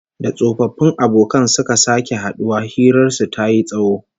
Da tsofaffin abokan suka sake haduwa, hirar su tayi tsawo